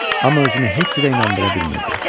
Amma özünü heç cür inandıra bilmirdi.